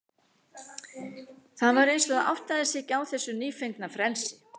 Það var eins og það áttaði sig ekki á þessu nýfengna frelsi.